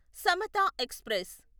Samata express